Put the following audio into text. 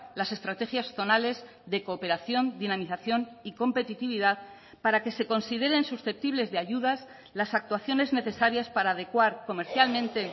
las estrategias zonales de cooperación dinamización y competitividad para que se consideren susceptibles de ayudas las actuaciones necesarias para adecuar comercialmente